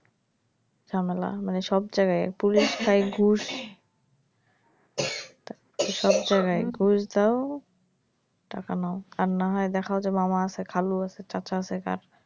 ঝামেলা মানে সব জায়গায় পুলিশ তাই ঘুস সব জায়গায় ঘুস দাও টাকা নাও আর না হয় দেখা যাবে মামা আছে খালু আছে চাচা আছে কার,